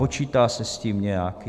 Počítá se s tím nějak?